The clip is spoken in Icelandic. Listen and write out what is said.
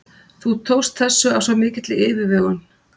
Þú tókst þessu af svo mikilli yfirvegun.